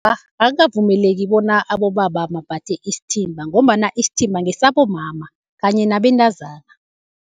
akukavumeleki bona abobaba bambathe isithimba, ngombana isithimba ngesabomama kanye nabentazana.